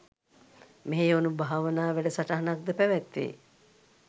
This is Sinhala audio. මෙහෙයවනු භාවනා වැඩසටහනක්ද පැවැත්වෙයි